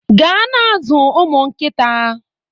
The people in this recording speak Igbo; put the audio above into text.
Gaa na-azụ ụmụ nkịta